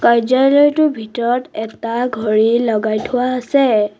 কাৰ্য্যালয়টোৰ ভিতৰত এটা ঘড়ী লগাই থোৱা আছে।